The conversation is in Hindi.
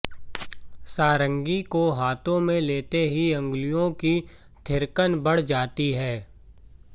सारंगी को हाथों में लेते ही अंगुलियों की थिरकन बढ़ जाती है